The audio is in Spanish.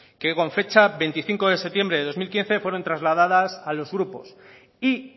que con fecha veinticinco de septiembre de dos mil quince fueron trasladadas a los grupos y